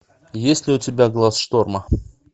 есть ли у тебя глаз шторма